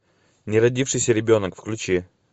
неродившийся ребенок включи